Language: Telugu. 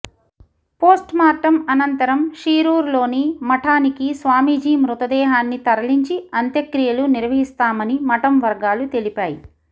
పోస్ట్ మార్టం అనంతరం షీరూర్ లోని మఠానికి స్వామిజీ మృతదేహన్ని తరలించి అంతక్రియలు నిర్వహిస్తామని మఠం వర్గాలు తెలిపాయి